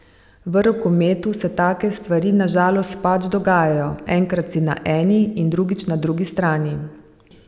V rokometu se take stvari na žalost pač dogajajo, enkrat si na eni in drugič na drugi strani.